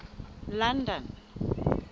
london